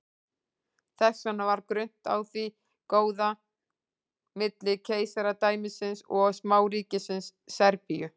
þess vegna var grunnt á því góða milli keisaradæmisins og smáríkisins serbíu